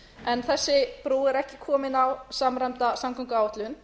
en þessi brú er ekki komin á samræmda samgönguáætlun